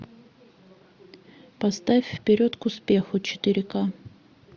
поставь вперед к успеху четыре ка